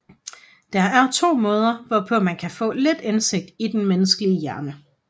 Der er to måder hvorpå man kan få lidt indsigt ind i den menneskelige hjerne